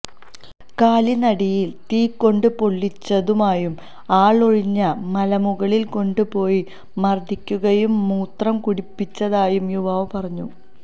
കാലിനടിയില് തീ കൊണ്ട് പൊള്ളിച്ചതായും ആളൊഴിഞ്ഞ മലമുകളില് കൊണ്ട് പോയി മര്ദ്ദിക്കുകയും മൂത്രം കുടിപ്പിച്ചതായും യുവാവ് പറഞ്ഞു